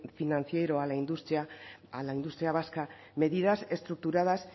financiero a la industria a la industria vasca medidas estructuradas